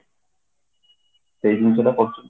ସେଇ ଜିନିଷ ଟା କରୁଛନ୍ତି ତ